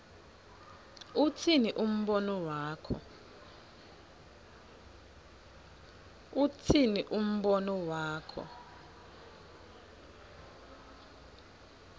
utsini umbono wakho